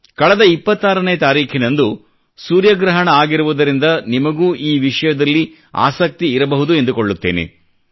ಕಳೆದ 26 ನೇ ತಾರೀಖಿನಂದು ಸೂರ್ಯಗ್ರಹಣ ಆಗಿರುವುದರಿಂದ ನಿಮಗೂ ಈ ವಿಷಯದಲ್ಲಿ ಆಸಕ್ತಿ ಇರಬಹುದು ಎಂದುಕೊಳ್ಳುತ್ತೇನೆ